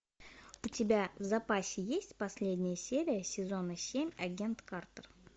у тебя в запасе есть последняя серия сезона семь агент картер